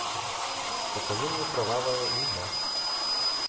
покажи мне кровавая луна